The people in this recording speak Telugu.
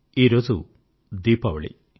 ఈ రోజు దీపావళి